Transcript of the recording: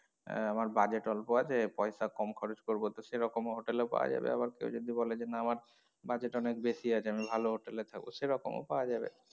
আহ আমার budget অল্প আছে পয়সা কম খরচ করবো তো সেরকম হোটেল ও পাওয়া যাবে আবার কেউ যদি বলে যে না আমার budget অনেক বেশি আছে আমি ভালো হোটেল এ থাকবো সেরকম ও পাওয়া যাবে।